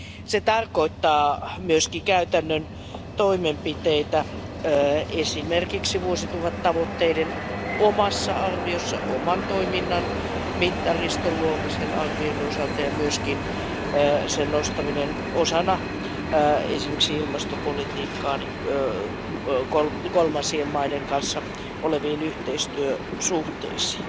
Se tarkoittaa myöskin käytännön toimenpiteitä, esimerkiksi vuosituhattavoitteiden omassa arviossa, oman toiminnan mittariston luomisen arvioinnin osalta ja myöskin sen nostamista osana esimerkiksi ilmastopolitiikkaa kolmansien maiden kanssa oleviin yhteistyösuhteisiin.